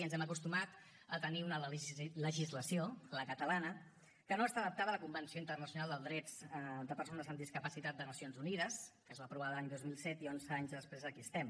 ens hem acostumat a tenir una legislació la catalana que no està adaptada a la convenció internacional de drets de persones amb discapacitat de nacions unides que es va aprovar l’any dos mil siete i onze anys després aquí estem